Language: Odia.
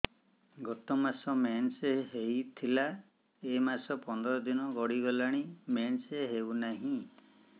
ଗତ ମାସ ମେନ୍ସ ହେଇଥିଲା ଏ ମାସ ପନ୍ଦର ଦିନ ଗଡିଗଲାଣି ମେନ୍ସ ହେଉନାହିଁ